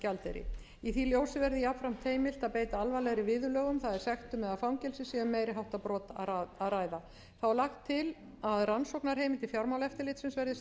í því ljósi verði jafnframt heimilt að beita alvarlegri viðurlögum það er sektum eða fangelsi sé um meiri háttar brot að ræða þá er lagt til að rannsóknarheimildir fjármálaeftirlitsins verði